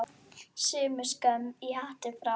Borgin hefur breyst.